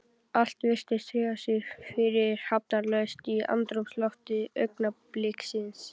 Allir virtust hreyfa sig fyrirhafnarlaust í andrúmslofti augnabliksins.